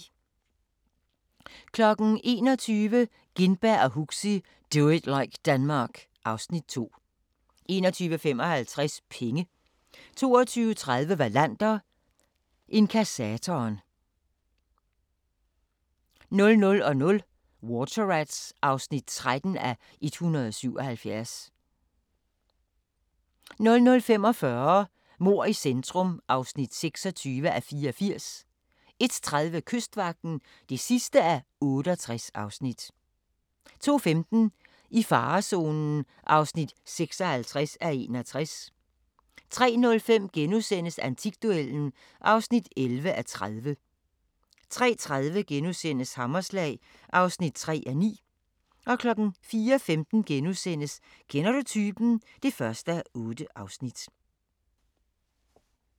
21:00: Gintberg og Huxi – Do it like Denmark (Afs. 2) 21:55: Penge 22:30: Wallander: Inkassatoren 00:00: Water Rats (13:177) 00:45: Mord i centrum (26:84) 01:30: Kystvagten (68:68) 02:15: I farezonen (56:61) 03:05: Antikduellen (11:30)* 03:30: Hammerslag (4:9)* 04:15: Kender du typen? (1:8)*